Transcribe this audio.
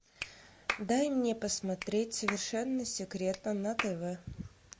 дай мне посмотреть совершенно секретно на тв